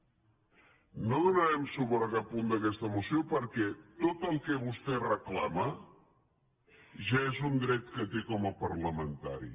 no donarem suport a cap punt d’aquesta moció perquè tot el que vostè reclama ja és un dret que té com a parla·mentari